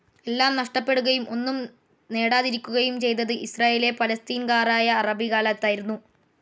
എല്ലാം നഷ്ട്ടപ്പെടുകയും ഒന്നും നെടാതിരിക്കുകയും ചെയ്തത് ഇസ്രായേലിലെ പലസ്തീൻകാറായ അറബികാലായിരുന്നു